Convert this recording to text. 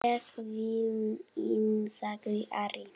Ég vil inn, sagði Ari.